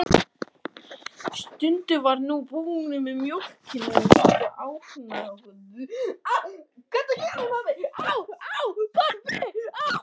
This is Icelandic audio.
Skundi var nú búinn með mjólkina og virtist ánægður.